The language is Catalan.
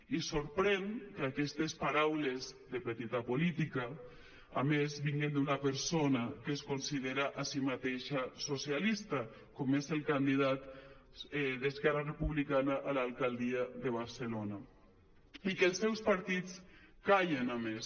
i sorprèn que aquestes paraules de petita política a més vinguin d’una persona que es considera a si mateixa socialista com és el candidat d’esquerra republicana a l’alcaldia de barcelona i que els seus partits callin a més